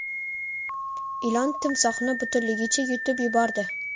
Ilon timsohni butunligicha yutib yubordi .